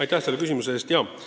Aitäh selle küsimuse eest!